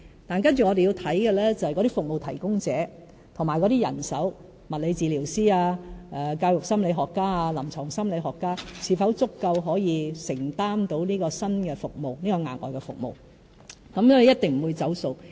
但接着我們要檢視的是服務提供者和人手，例如物理治療師、教育心理學家或臨床心理學家是否足夠可以承擔額外服務，一定不會"走數"。